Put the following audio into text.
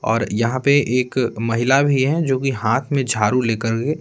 और यहाँ पे एक महिला भी है जोकि हाथ में झाड़ू लेकर के--